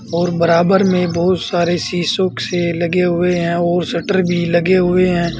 और बराबर में बहुत सारे शीशों से लगे हुए हैं और शटर भी लगे हुए हैं।